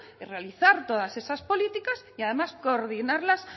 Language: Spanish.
es realizar todas esas políticas y además coordinarlas